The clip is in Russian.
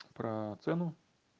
про цену